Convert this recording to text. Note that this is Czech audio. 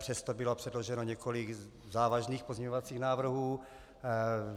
Přesto bylo předloženo několik závažných pozměňovacích návrhů.